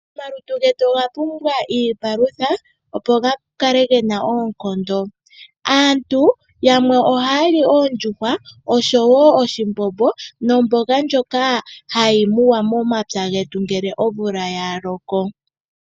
Omalutu getu oga pumbwa iipalutha opo gakale gena oonkondo. Aantu yamwe ohaya li oondjuhwa osho woo oshimbombo nomboga ndjoka hayi muwa momapya getu ngele omvula ya loko.